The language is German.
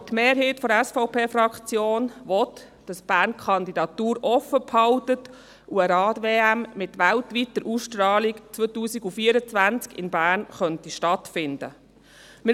Aber die Mehrheit der SVP-Fraktion will, dass Bern die Kandidatur offenhält und eine Rad-WM von weltweiter Ausstrahlung 2024 in Bern stattfinden könnte.